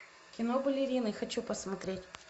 кино балерины хочу посмотреть